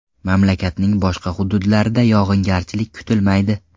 Mamlakatning boshqa hududlarida yog‘ingarchilik kutilmaydi.